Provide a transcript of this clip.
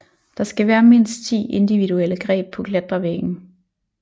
Der skal være mindst 10 individuelle greb på klatrevæggen